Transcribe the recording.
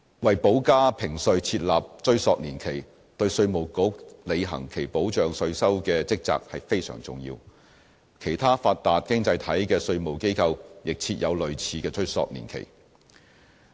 為補加評稅設立追溯年期，對稅務局履行其保障稅收的職責非常重要，其他發達經濟體的稅務機構亦設有類似的追溯年期。